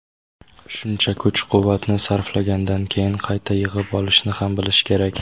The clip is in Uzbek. Shuncha kuch-quvvatni sarflagandan keyin qayta yig‘ib olishni ham bilish kerak.